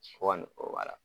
O ane o ala.